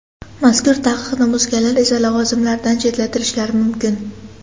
Mazkur taqiqni buzganlar esa lavozimlaridan chetlatilishlari mumkin.